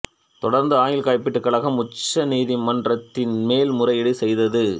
தொடர்ந்து ஆயுள் காப்பீட்டுக் கழகம் உச்சநீதிமன்றத்தில் மேல் முறையீடு செய்தது